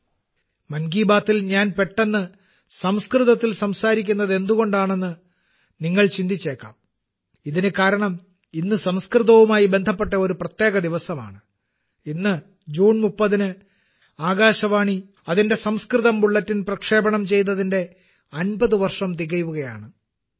'മൻ കി ബാത്തിൽ' ഞാൻ പെട്ടെന്ന് സംസ്കൃതത്തിൽ സംസാരിക്കുന്നത് എന്തുകൊണ്ടാണെന്ന് നിങ്ങൾ ചിന്തിച്ചേക്കാം ഇതിന് കാരണം ഇന്ന് സംസ്കൃതവുമായി ബന്ധപ്പെട്ട ഒരു പ്രത്യേക ദിവസമാണ് ഇന്ന് ജൂൺ 30 ന് ആകാശവാണി അതിന്റെ സംസ്കൃത ബുള്ളറ്റിൻ പ്രക്ഷേപണം ചെയ്തതിന്റെ 50 വർഷം തികയുകയാണ്